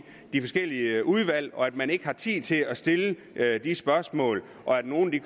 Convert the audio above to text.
de forskellige udvalg og at man ikke har tid til at stille de spørgsmål og at nogle